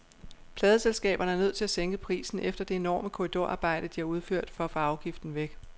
Pladeselskaberne er nødt til at sænke prisen efter det enorme korridorarbejde, de har udført for at få afgiften væk.